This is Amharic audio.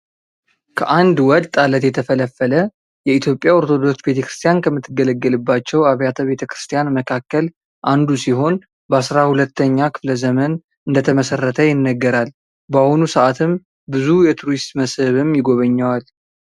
ከአንድ ወጥ አለት የተፈለፈለ የኢትዮጵያ ኦርቶዶክስ ቤተክርስቲያን ከምትገለገለባቸው አብያተ ቤተክርስቲያን መካከል አንዱ ሲሆን በአስራ ሁለተኛ ክፍለ ዘመን እንደተመሠረተ ይነገራል። በአሁኑ ሰአትም ብዙ የቱሪስት መስህብም ይጎበኘዋል።